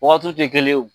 Wagatiw tɛ kelen ye o